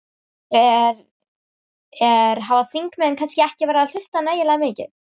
Er, er, hafa þingmenn kannski ekki verið að hlusta nægilega mikið?